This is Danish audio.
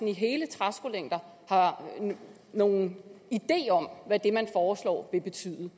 i hele træskolængder har nogen idé om hvad det man foreslår vil betyde